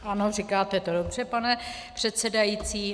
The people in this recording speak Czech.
Ano, říkáte to dobře, pane předsedající.